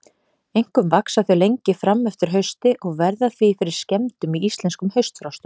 Einkum vaxa þau lengi fram eftir hausti og verða því fyrir skemmdum í íslenskum haustfrostum.